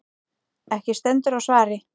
Ekki stendur á svari.